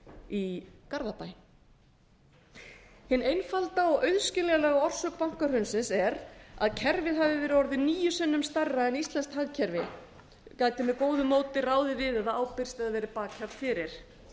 í garðabæ hin einfalda og auðskiljanlega orsök bankahrunsins er að kerfið hafi verið orðið níu sinnum stærra en íslenskt hagkerfi gæti með góðu móti ráðið við eða ábyrgst eða verið bakhjarl fyrir